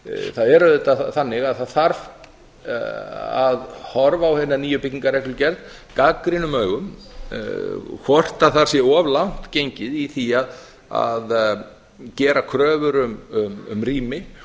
það er auðvitað þannig að það þarf að horfa á hina nýju byggingarreglugerð gagnrýnum augum hvort þar sé of langt gengið í því að gera kröfur um rými